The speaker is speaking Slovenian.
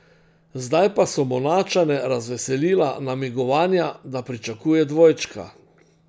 Zdaj pa so Monačane razveselila namigovanja, da pričakuje dvojčka.